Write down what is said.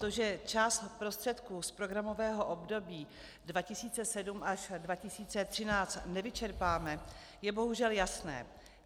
To, že část prostředků z programového období 2007 až 2013 nevyčerpáme, je bohužel jasné.